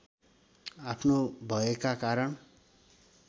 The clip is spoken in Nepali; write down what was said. आफ्नो भयका कारण